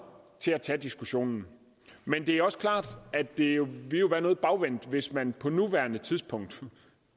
til at tage diskussionen men det er også klart at det jo ville været noget bagvendt hvis man på nuværende tidspunkt